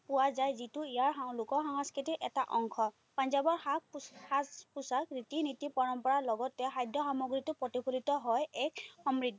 পোৱা যায়, যিটো ইয়াৰ লোক সাংস্কৃতিৰ এটা অংশ। পঞ্জাৱৰ সাজ সাজ-পোছাক ৰীতি-নীতি পৰম্পৰাৰ লগতে খাদ্য সামগ্ৰীতো প্ৰতিফলিত হয় এক সমৃদ্ধি।